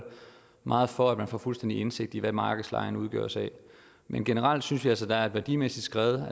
meget for at man får fuldstændig indsigt i hvad markedslejen udgøres af men generelt synes vi altså at der er værdimæssigt skred